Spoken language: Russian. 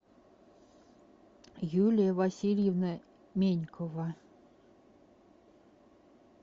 юлия васильевна менькова